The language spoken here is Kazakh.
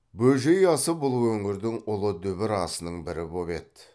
бөжей асы бұл өңірдің ұлы дүбір асының бірі боп еді